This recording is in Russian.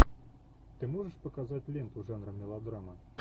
ты можешь показать ленту жанра мелодрама